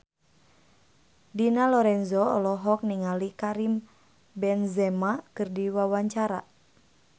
Dina Lorenza olohok ningali Karim Benzema keur diwawancara